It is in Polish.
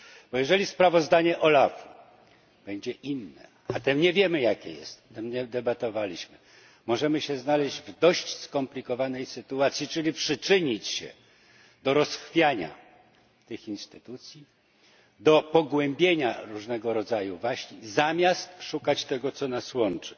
Bo jeżeli sprawozdanie OLAF u będzie inne, a my nie wiemy, jakie jest o tym nie debatowaliśmy możemy się znaleźć w dość skomplikowanej sytuacji, czyli przyczynić się do rozchwiania tych instytucji, do pogłębienia różnego rodzaju waśni, zamiast szukać tego, co nas łączy.